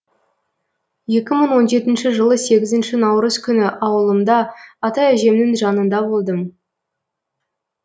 екі мың он жетінші жылы сегізінші наурыз күні ауылымда ата әжемнің жанында болдым